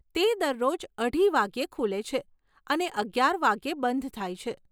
તે દરરોજ અઢી વાગ્યે ખુલે છે અને અગિયાર વાગ્યે બંધ થાય છે.